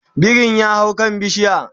birin ya hau kan bishiya